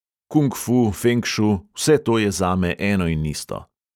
Kung fu, fenk šu, vse to je zame eno in isto.